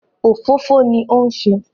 Òfófó ni ó ń se